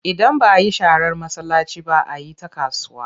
Idan ba a yi sharar masallaci ba, a yi ta kasuwa.